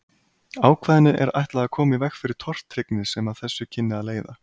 Ákvæðinu er ætlað að koma í veg fyrir tortryggni sem af þessu kynni að leiða.